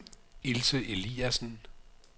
Ilse Eliasen